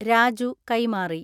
രാജു കൈമാറി.